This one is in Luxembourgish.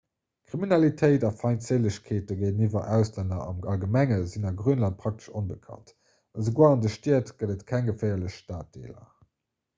kriminalitéit a feindséilegkeete géintiwwer auslänner am allgemenge sinn a grönland praktesch onbekannt esouguer an de stied gëtt et keng geféierlech staddeeler